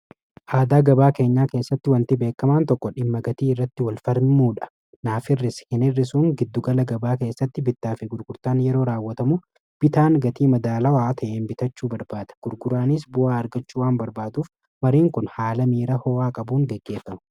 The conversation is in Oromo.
aadaa gabaa keenyaa keessatti wantii beekamaan tokko dhimma gatii irratti wal falmuudha naaf hirrisi hin irrisuun giddugala gabaa keessatti bittaafe gurgurtaan yeroo raawwatamu bitaan gatii madaalawaa ta'en bitachuu barbaada gurguraanis bu'aa argachuu waan barbaaduuf mariin kun haala miira ho'aa qabuun geggeeffamu